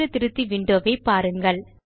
சூத்திர திருத்தி விண்டோ வை பாருங்கள்